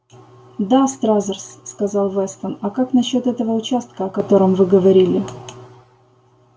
да стразерс сказал вестон а как насчёт этого участка о котором вы говорили